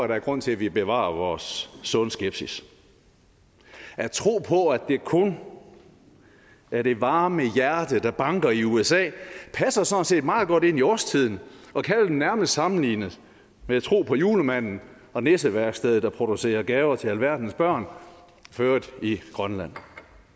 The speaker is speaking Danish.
der er grund til at vi bevarer vores sunde skepsis at tro på at det kun er det varme hjerte der banker i usa passer sådan set meget godt ind i årstiden og kan vel nærmest sammenlignes med at tro på julemanden og nisseværkstedet der producerer gaver til alverdens børn for øvrigt i grønland